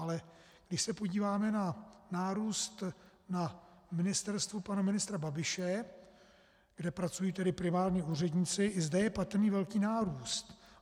Ale když se podíváme na nárůst na ministerstvu pana ministra Babiše, kde pracují tedy primárně úředníci, i zde je patrný velký nárůst.